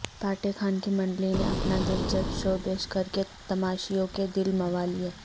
پاٹے خان کی منڈلی نے اپنا دلچسپ شو پیش کرکے تماشائیوں کے دل موہ لیے